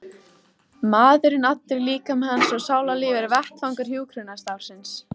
Maðurinn allur, líkami hans og sálarlíf er vettvangur hjúkrunarstarfsins.